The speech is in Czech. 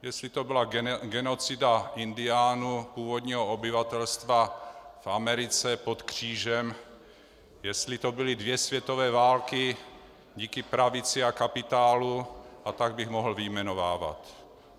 Jestli to byla genocida indiánů, původního obyvatelstva v Americe, pod křížem, jestli to byly dvě světové války díky pravici a kapitálu, a tak bych mohl vyjmenovávat.